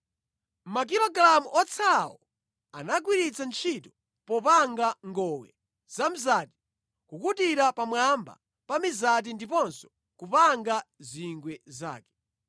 Makilogalamu otsalawo anagwiritsa ntchito popanga ngowe zamzati kukutira pamwamba pa mizati ndiponso kupanga zingwe zake.